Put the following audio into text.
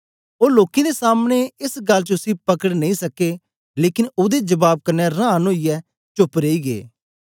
ओ लोकें दे सामनें एस गल्ल च उसी पकड़ नेई सके लेकन ओदे जबाब कन्ने रांन ओईयै चोप्प रेई गै